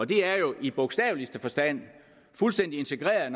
det er jo i bogstaveligste forstand fuldstændig integreret